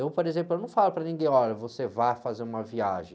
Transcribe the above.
Eu, por exemplo, eu não falo para ninguém, olha, você vai fazer uma viagem.